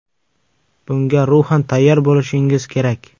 Bunga ruhan tayyor bo‘lishingiz kerak.